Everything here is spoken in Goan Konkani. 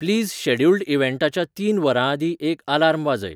प्लीज शॅड्युल्ड इव्हॅन्टाच्या तीन वरांआदीं एक आलार्म वाजय